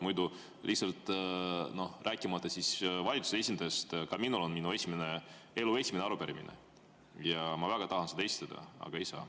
Muidu lihtsalt, rääkimata valitsuse esindajast, ka minul on, sest mul on elu esimene arupärimine ja ma väga tahan seda esitada, aga ei saa.